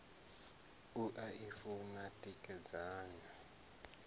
u a i funa tikedzani